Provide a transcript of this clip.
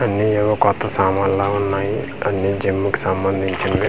అన్ని ఏమో కొత్త సామాన్లా ఉన్నాయి అన్ని జిమ్ము కు సంబంధించినవే--